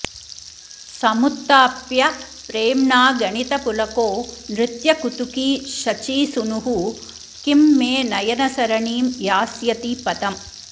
समुत्थाप्य प्रेम्णागणितपुलको नृत्यकुतुकी शचीसूनुः किं मे नयनसरणीं यास्यति पदम्